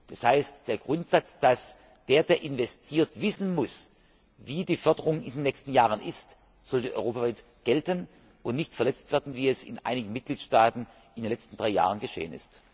Das heißt, der Grundsatz, dass der, der investiert, wissen muss, wie die Förderung in den nächsten Jahren ist, sollte europaweit gelten und nicht verletzt werden, wie es in einigen Mitgliedstaaten in den letzten drei Jahren geschehen ist.